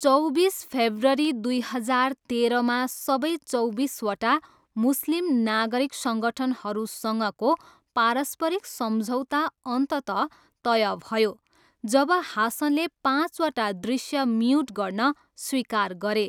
चौबिस फेब्रुअरी दुई हजार तेह्रमा सबै चौबिसवटा मुस्लिम नागरिक सङ्गठनहरूसँगको पारस्परिक सम्झौता अन्ततः तय भयो, जब हासनले पाँचवटा दृश्य म्युट गर्न स्वीकार गरे।